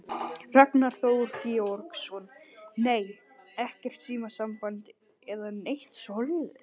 Ragnar Þór Georgsson: Nei, ekkert símasamband eða neitt svoleiðis?